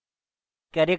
character class